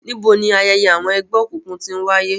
Nibo ni ayẹyẹ orȯ awọn ẹgbẹokunkun ti ń waye?